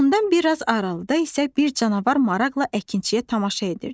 Ondan bir az aralıda isə bir canavar maraqla əkinçiyə tamaşa edirdi.